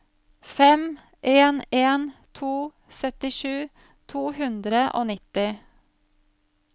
fem en en to syttisju to hundre og nitti